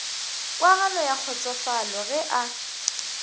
kwagalo ya kgotsofalo ge a